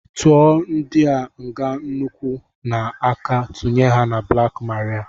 Tụọ ndị a ịga n'ụkwụ na aka tụnye ha na blaak maria!